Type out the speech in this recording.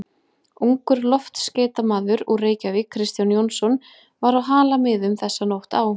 Ungur loftskeytamaður úr Reykjavík, Kristján Jónsson, var á Halamiðum þessa nótt á